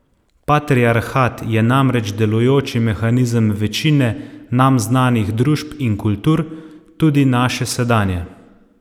Patriarhat je namreč delujoči mehanizem večine nam znanih družb in kultur, tudi naše sedanje.